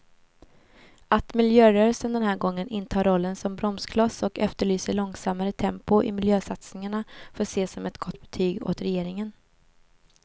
Att miljörörelsen den här gången intar rollen som bromskloss och efterlyser långsammare tempo i miljösatsningarna får ses som ett gott betyg åt regeringen.